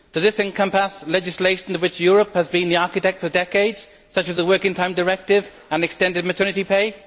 Does this encompass legislation for which Europe has been the architect for decades, such as the Working Time Directive and extended maternity pay?